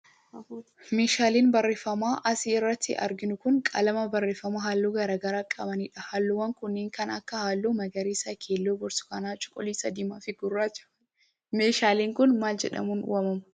Meeshaaleen barreeffamaa as irratti arginu kun, qalama barreeffamaa haalluu garaa garaa qabanii dha. Haalluuwwan kunneen, kan akka Haalluu: magariisa, keelloo, burtukaana, cuquliisa , diimaa fi gurraacha faa dha. Meeshaaleen kun, maal jedhamuun waamamu?